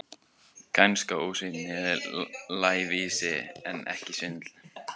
Kænska, ósvífni, lævísi, en ekki svindl.